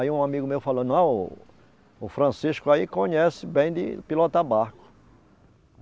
Aí um amigo meu falou, não, o Francisco aí conhece bem de pilotar barco.